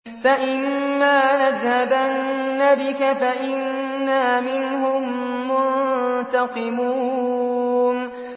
فَإِمَّا نَذْهَبَنَّ بِكَ فَإِنَّا مِنْهُم مُّنتَقِمُونَ